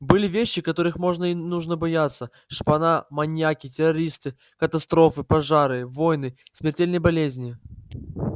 были вещи которых можно и нужно бояться шпана маньяки террористы катастрофы пожары войны смертельные болезни